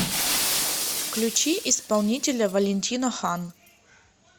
включи исполнителя валентино хан